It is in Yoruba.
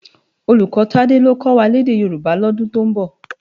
Ólúkò Tade ló kò wá lèdè Yoruba lòdún tó nbò